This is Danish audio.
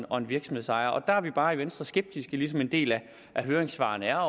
og en virksomhedsejer og der er vi bare i venstre skeptiske ligesom en del af høringssvarene er